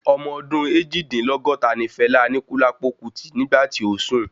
Ọmọ ọdún Eejidinlogota ní Fela Anikulapo Kuti nígbà tí ó sùn